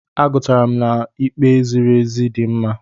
Agụrụtara m na'ikpe ziri ezi dị mma.